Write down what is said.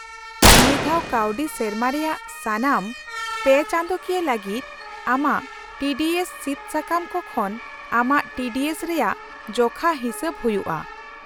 -ᱱᱤᱭᱟᱹ ᱫᱷᱟᱣ ᱠᱟᱹᱣᱰᱤ ᱥᱮᱨᱢᱟ ᱨᱮᱭᱟᱜ ᱥᱟᱱᱟᱢ ᱔ ᱯᱮᱼᱪᱟᱸᱫᱳᱠᱤᱭᱟᱹ ᱞᱟᱹᱜᱤᱫ ᱟᱢᱟᱜ ᱴᱤ ᱰᱤ ᱮᱥ ᱥᱤᱫ ᱥᱟᱠᱟᱢ ᱠᱚ ᱠᱷᱚᱱ ᱟᱢᱟᱜ ᱴᱤ ᱰᱤ ᱮᱥ ᱼᱨᱮᱭᱟᱜ ᱡᱚᱠᱷᱟ ᱦᱤᱥᱟᱹᱵ ᱦᱩᱭᱩᱜᱼᱟ ᱾